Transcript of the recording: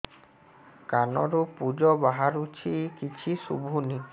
କାନରୁ ପୂଜ ବାହାରୁଛି କିଛି ଶୁଭୁନି